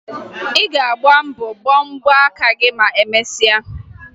Ị ga-agba mbọ ọkpa gị ma emesịa